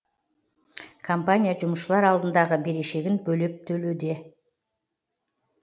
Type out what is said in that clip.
компания жұмысшылар алдындағы берешегін бөліп төлеуде